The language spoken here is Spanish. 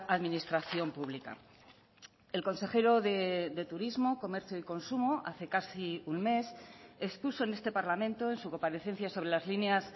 administración pública el consejero de turismo comercio y consumo hace casi un mes expuso en este parlamento en su comparecencia sobre las líneas